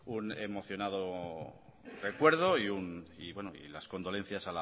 un emocionado recuerdo y las condolencias